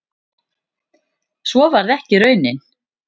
Svo varð ekki raunin